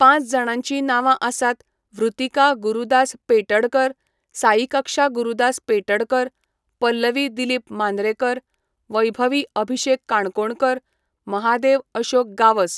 पांच जाणांची नांवां आसात वृतीका गुरुदास पेटडकर, साईकक्षा गुरुदास पेटडकर, पल्लवी दिलीप मांद्रेकर, वैभवी अभिशेक काणकोणकर, महादेव अशोक गावस.